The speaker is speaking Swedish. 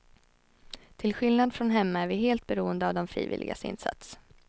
Till skillnad från hemma är vi helt beroende av de frivilligas insats.